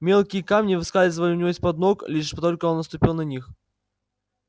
мелкие камни выскальзывали у него из под ног лишь только он наступил на них